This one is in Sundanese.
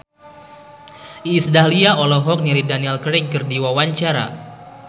Iis Dahlia olohok ningali Daniel Craig keur diwawancara